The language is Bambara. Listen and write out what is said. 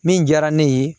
Min diyara ne ye